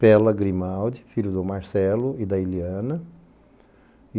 Pela Grimaldi, filho do Marcelo e da Iliana.